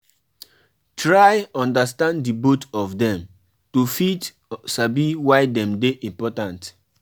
Festival dey make pipo make pipo fit live in peace with each oda